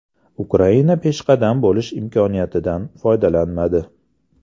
Ukraina peshqadam bo‘lish imkoniyatidan foydalanmadi.